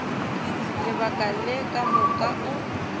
lebaka le ka moka o